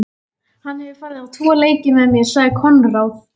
Hann hefur farið á tvo leiki með mér, sagði Konráð.